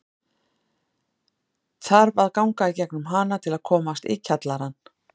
Þarf að ganga í gegnum hana til að komast í kjallarann.